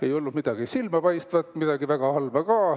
Ei olnud midagi silmapaistvat ega ka midagi väga halba.